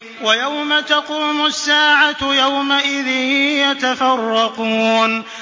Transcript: وَيَوْمَ تَقُومُ السَّاعَةُ يَوْمَئِذٍ يَتَفَرَّقُونَ